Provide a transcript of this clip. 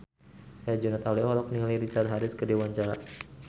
Herjunot Ali olohok ningali Richard Harris keur diwawancara